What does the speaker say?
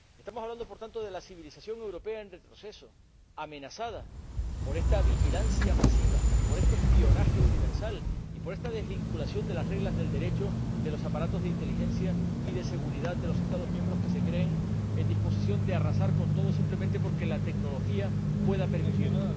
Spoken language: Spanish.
Estamos hablando, por tanto, de la civilización europea en retroceso, amenazada por esta vigilancia masiva, por este espionaje universal y por esta desvinculación de las reglas del Derecho de los aparatos de inteligencia y de seguridad de los Estados miembros que se creen en disposición de arrasar con todo simplemente porque la tecnología pueda permitirlo.